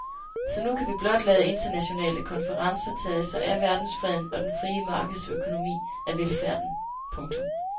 Så nu kan vi blot lade internationale konferencer tage sig af verdensfreden og den frie markedsøkonomi af velfærden. punktum